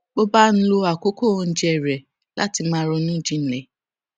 bó bá ń lo àkókò oúnjẹ rè láti máa ronú jinlè